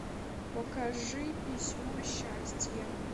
покажи письмо счастья